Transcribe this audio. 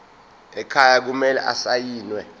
ekhaya kumele asayiniwe